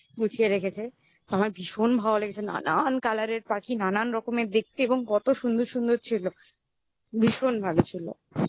খুবই স্বাভাবিক. ওরা ওখানে গুছিয়ে রেখেছে আমার ভীষণ ভালো লেগেছে. নানান colour এর পাখি নানান রকমের দেখতে এবং কত সুন্দর সুন্দর ছিল. ভীষণ ভালো ছিল।